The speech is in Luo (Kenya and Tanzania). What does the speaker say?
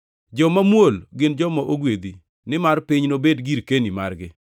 Joma muol gin joma ogwedhi nimar piny nobed girkeni margi.